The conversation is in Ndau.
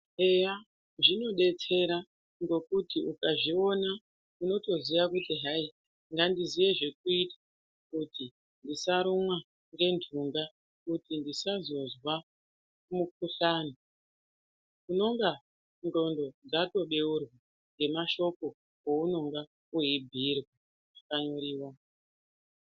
Eya, zvinodetsera ngekuti ukazviona unotoziya kuti hai ngandiziye zvekuita kuti usarumwa ngenhunga kuti ndisazozwa mukuhlani. Unonga ndxondo dzatobeurwa ngemashoko ounonga weibhuyirwa pakanyoriwa.